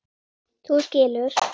Þú skilur.